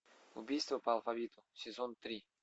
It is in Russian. убийство по алфавиту сезон три